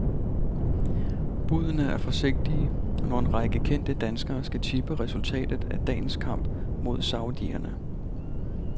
Budene er forsigtige, når en række kendte danskere skal tippe resultatet af dagens kamp mod saudierne.